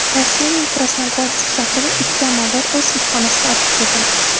Rossiyaning Krasnogorsk shahrida ikki amaldor o‘z ishxonasida otib ketildi.